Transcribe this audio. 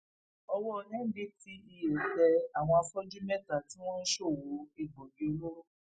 owó ndtea tẹ àwọn afọjú mẹta tí wọn ń ṣòwò egbòogi olóró